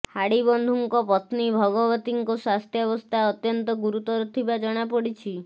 ହାଡ଼ିବନ୍ଧୁଙ୍କ ପତ୍ନୀ ଭଗବତୀଙ୍କ ସ୍ୱାସ୍ଥ୍ୟାବସ୍ଥା ଅତ୍ୟନ୍ତ ଗୁରୁତର ଥିବା ଜଣାପଡ଼ିଛି